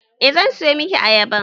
Eh zan siyo miki ayaban